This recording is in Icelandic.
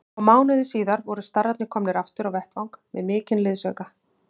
Og mánuði síðar voru starrarnir komnir aftur á vettvang með mikinn liðsauka.